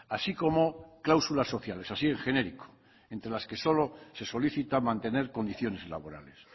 así como cláusulas sociales así en genérico entre las que solo se solicita mantener condiciones laborales